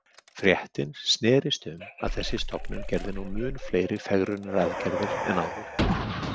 Fréttin snerist um að þessi stofnun gerði nú mun fleiri fegrunaraðgerðir en áður.